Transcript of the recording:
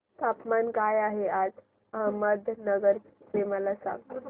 तापमान काय आहे आज अहमदनगर चे मला सांगा